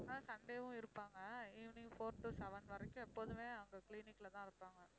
ஆஹ் sunday வும் இருப்பாங்க evening four to seven வரைக்கும் எப்போதுமே அங்க clinic ல தான் இருப்பாங்க